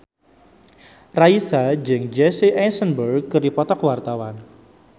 Raisa jeung Jesse Eisenberg keur dipoto ku wartawan